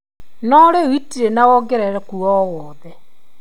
Norĩu itĩri na wongerereku o wothe ?